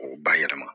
O bayɛlɛma